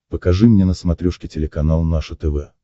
покажи мне на смотрешке телеканал наше тв